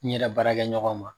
N yɛrɛ baara kɛ ɲɔgɔnw